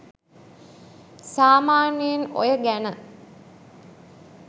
සාමාන්‍යයෙන් ඔය ගැන